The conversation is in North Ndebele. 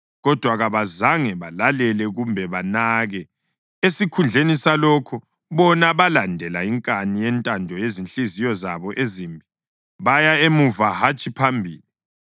Kodwa kabazange balalele kumbe banake; esikhundleni salokho, bona balandela inkani yentando yezinhliziyo zabo ezimbi. Baya emuva hatshi phambili.